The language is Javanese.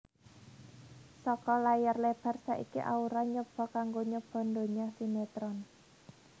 Saka layar lebar saiki Aura nyoba kanggo nyoba donya sinetron